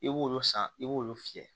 I b'olu san i b'olu fiyɛ